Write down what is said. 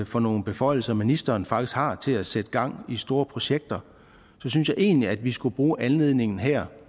for nogle beføjelser ministeren faktisk har til at sætte gang i store projekter så synes jeg egentlig vi skulle bruge anledningen her